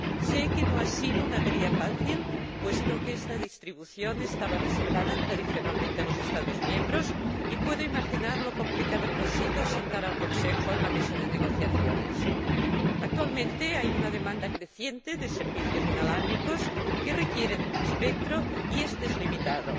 Sé que no ha sido una tarea fácil, puesto que esta distribución estaba reservada tradicionalmente a los Estados miembros, y puedo imaginar lo complicado que ha sido sentar al Consejo en la mesa de negociaciones. Actualmente hay una demanda creciente de servicios inalámbricos que requieren espectro y este es limitado.